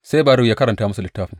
Sai Baruk ya karanta musu littafin.